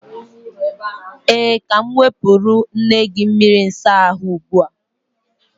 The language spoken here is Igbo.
Ee, ka m nwepuru nne gi mmiri usa ahu ugbua.